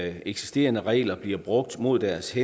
eksisterende regler bliver brugt mod deres